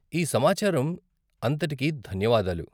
ఈ సమాచారం అంతటికీ ధన్యవాదాలు..